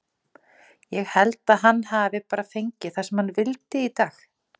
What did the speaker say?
Ég held að hann hafi bara fengið það sem hann vildi í dag.